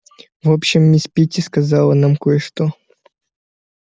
в общем мисс питти сказала нам кое-что